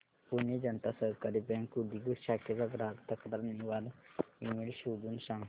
पुणे जनता सहकारी बँक उदगीर शाखेचा ग्राहक तक्रार निवारण ईमेल शोधून सांग